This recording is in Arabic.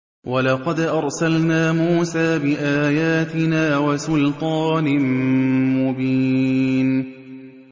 وَلَقَدْ أَرْسَلْنَا مُوسَىٰ بِآيَاتِنَا وَسُلْطَانٍ مُّبِينٍ